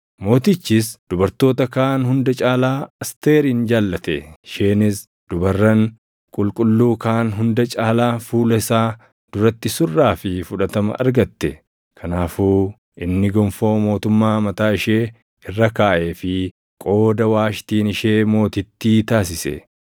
Mootichis dubartoota kaan hunda caalaa Asteerin jaallate; isheenis dubarran qulqulluu kaan hunda caalaa fuula isaa duratti surraa fi fudhatama argatte. Kanaafuu inni gonfoo mootummaa mataa ishee irra kaaʼeefii qooda Waashtiin ishee mootittii taasise.